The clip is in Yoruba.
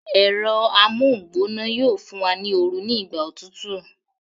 Ẹ̀rọ amóhungbóná yóò fún wa ní oru ní ìgbà òtútù